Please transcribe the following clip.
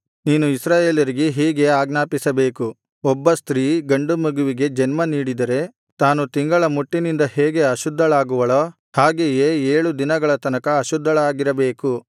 ನೀನು ಇಸ್ರಾಯೇಲರಿಗೆ ಹೀಗೆ ಆಜ್ಞಾಪಿಸಬೇಕು ಒಬ್ಬ ಸ್ತ್ರೀ ಗಂಡುಮಗುವಿಗೆ ಜನ್ಮ ನೀಡಿದರೆ ತಾನು ತಿಂಗಳ ಮುಟ್ಟಿನಿಂದ ಹೇಗೆ ಅಶುದ್ಧಳಾಗುವಳೋ ಹಾಗೆಯೇ ಏಳು ದಿನಗಳ ತನಕ ಅಶುದ್ಧಳಾಗಿರಬೇಕು